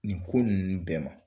Nin ko nunnu bɛɛ ma